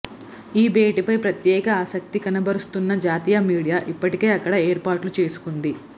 ఈ భేటీపై ప్రత్యేక ఆసక్తి కనబరుస్తున్న జాతీయ మీడియా ఇప్పటికే అక్కడ ఏర్పాట్లు చేసుకుంది